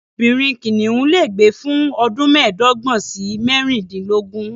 Obìnrin kìnìún lè gbé fún ọdún mẹ́ẹ̀dọ́gbọ̀n sí mẹ́rìndínlógún.